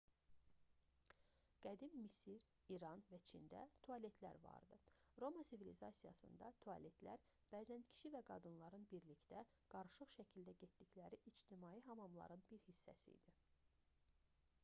qədim misir i̇ran və çində tualetlər vardı. roma sivilizasiyasında tualetlər bəzən kişi və qadınların birlikdə qarışıq şəkildə getdikləri ictimai hamamların bir hissəsi idi